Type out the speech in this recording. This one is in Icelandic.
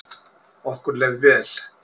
Okkur leið vel.